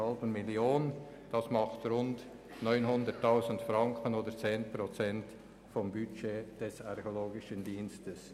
Das ergibt eine Ersparnis von rund 900 000 Franken oder rund 10 Prozent des Budgets des Archäologischen Dienstes.